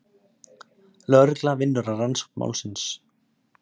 Lögregla vinnur að rannsókn málsins.